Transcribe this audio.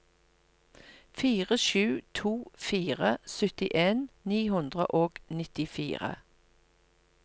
fire sju to fire syttien ni hundre og nittifire